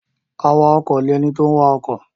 Awakọ̀ ni ẹni tó ń wa ọkọ̀.